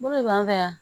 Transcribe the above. Bolo b'an fɛ yan